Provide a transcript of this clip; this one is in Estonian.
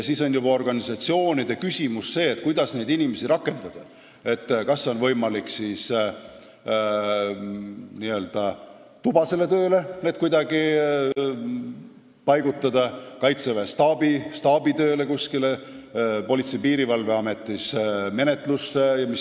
Siis on juba organisatsioonide asi see, kuidas neid inimesi rakendada, kas on võimalik neid n-ö tubasele tööle paigutada, kaitseväes kuskile staabitööle, Politsei- ja Piirivalveametis menetlusega tegelema.